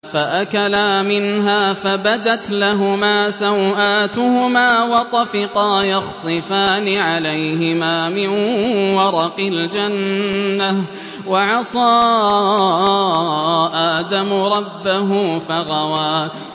فَأَكَلَا مِنْهَا فَبَدَتْ لَهُمَا سَوْآتُهُمَا وَطَفِقَا يَخْصِفَانِ عَلَيْهِمَا مِن وَرَقِ الْجَنَّةِ ۚ وَعَصَىٰ آدَمُ رَبَّهُ فَغَوَىٰ